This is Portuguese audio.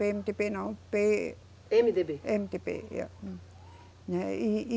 Pêemedêbê não, Pê. Emedêbê. Emedêbê, é, né, e, e